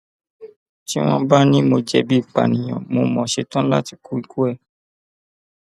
tí wọn bá ní mo jẹbi ìpànìyàn mo mo ṣetán láti kú ikú ẹ